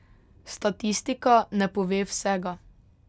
Statistika ne pove vsega.